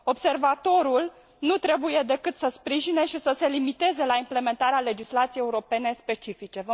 Observatorul nu trebuie decât să sprijine și să se limiteze la implementarea legislației europene specifice.